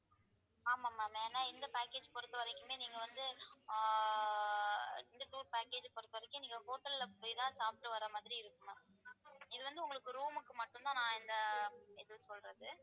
ஆமா ma'am ஏன்னா இந்த package பொறுத்தவரைக்குமே நீங்க வந்து ஆஹ் இந்த tour package பொறுத்தவரைக்கும் நீங்க hotel ல போயிதான் சாப்பிட்டு வர மாதிரி இருக்கும் ma'am இது வந்து உங்களுக்கு room க்கு மட்டும்தான் நான் இந்த இது சொல்றது